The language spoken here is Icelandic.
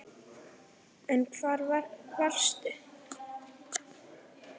En hvar varstu?